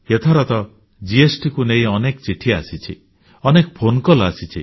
ଏଥର ତ ବସ୍ତୁ ଓ ସେବା କର GSTକୁ ନେଇ ଅନେକ ଚିଠି ଆସିଛି ଅନେକ ଫୋନ କଲ ଆସିଛି